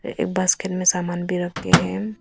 ए basket में सामान भी रखे हैं।